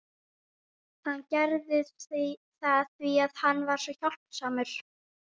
Hann gerði það því að hann er svo hjálpsamur.